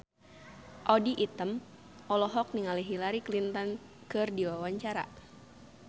Audy Item olohok ningali Hillary Clinton keur diwawancara